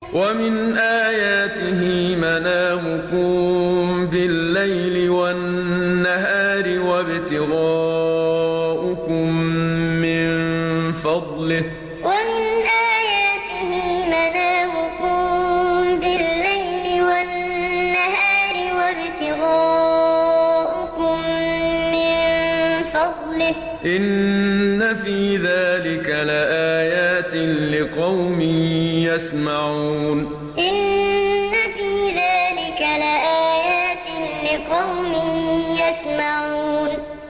وَمِنْ آيَاتِهِ مَنَامُكُم بِاللَّيْلِ وَالنَّهَارِ وَابْتِغَاؤُكُم مِّن فَضْلِهِ ۚ إِنَّ فِي ذَٰلِكَ لَآيَاتٍ لِّقَوْمٍ يَسْمَعُونَ وَمِنْ آيَاتِهِ مَنَامُكُم بِاللَّيْلِ وَالنَّهَارِ وَابْتِغَاؤُكُم مِّن فَضْلِهِ ۚ إِنَّ فِي ذَٰلِكَ لَآيَاتٍ لِّقَوْمٍ يَسْمَعُونَ